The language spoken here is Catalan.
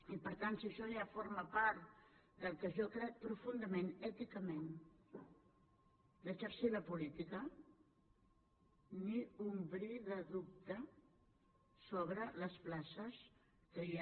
i per tant si això ja forma part del que jo crec profundament èticament d’exercir la política ni un bri de dubte sobre les places que hi ha